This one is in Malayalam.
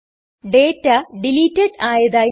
ഡേറ്റ ഡിലീറ്റഡ് ആയതായി കാണുന്നു